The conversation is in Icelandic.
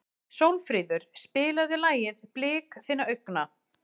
Sólfríður, spilaðu lagið „Blik þinna augna“.